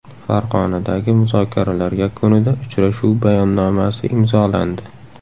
Farg‘onadagi muzokaralar yakunida uchrashuv bayonnomasi imzolandi.